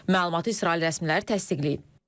Məlumatı İsrail rəsmiləri təsdiqləyib.